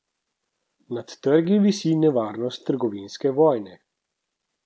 Nad trgi visi nevarnost trgovinske vojne.